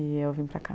E eu vim para cá.